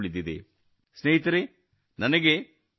ಸ್ನೇಹಿತರೇ ನನಗೆ ಬ್ರಿಯಾನ್ ದ್